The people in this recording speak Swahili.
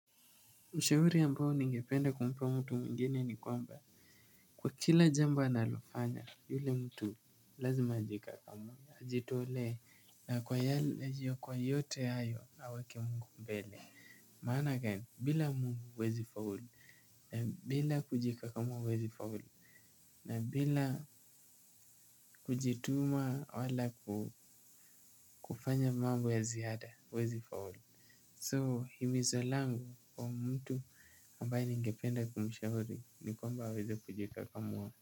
Ushauri ambao ningependa kumpa mtu mgeni ni kwamba kwa kila jambo analofanya yule mtu lazima ajikakamue, ajitolee na kwa yale, na juu ya kwa yote hayo awake mungu mbele. Maana gani, bila mungu huwezi faulu na bila kujikakamua huwezi faulu, na bila kujituma wala kufanya mambo ya ziada huwezi faulu So himizo langu kwa mtu ambaye ningependa kumshauri ni kwamba aweze kujikakamua.